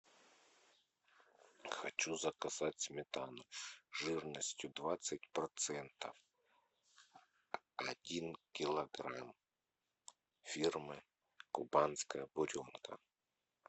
хочу заказать сметану жирностью двадцать процентов один килограмм фирмы кубанская буренка